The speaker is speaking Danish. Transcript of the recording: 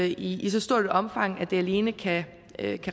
i i så stort et omfang at det alene kan